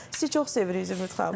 Sizi çox seviriik Zümrüd xanım.